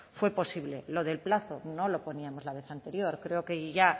fue posible lo del plazo no lo poníamos la vez anterior creo que ya